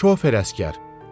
Şofer əsgər.